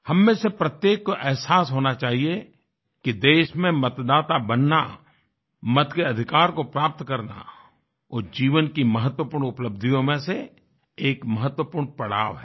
हम में से प्रत्येक को अहसास होना चाहिए कि देश में मतदाता बनना मत के अधिकार को प्राप्त करना वो जीवन की महत्वपूर्ण उपलब्धियों में से एक महत्वपूर्ण पड़ाव है